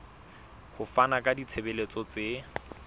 ho fana ka ditshebeletso tse